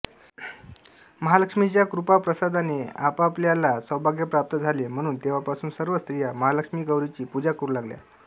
महालक्ष्मीच्या कृपाप्रसादाने आपापल्या सौभाग्य प्राप्त झाले म्हणून तेव्हापासून सर्व स्त्रिया महालक्ष्मी गौरीची पूजा करू लागल्या